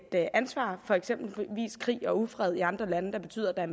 ansvar for eksempel fordi krig og ufred i andre lande betyder at